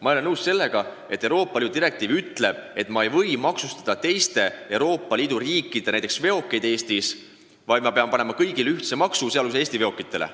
Ma ei ole nõus, et Euroopa Liidu direktiiv ütleb, et ma ei või maksustada teiste Euroopa Liidu riikide veokeid Eestis, vaid pean kehtestama kõigile ühtse maksu, sh Eesti veokitele.